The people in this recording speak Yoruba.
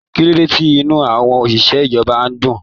Kilode tí inú àwọn oṣiṣẹ ìjọba n dùn.